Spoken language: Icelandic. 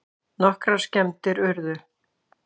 Nokkrar skemmdir urðu